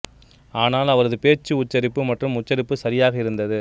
ஆனால் அவரது பேச்சு உச்சரிப்பு மற்றும் உச்சரிப்பு சரியாக இருந்தது